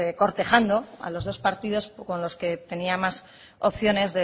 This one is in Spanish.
cortejando a los dos partidos con los que tenía más opciones